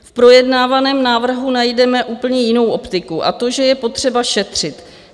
V projednávaném návrhu najdeme úplně jinou optiku, a to, že je potřeba šetřit.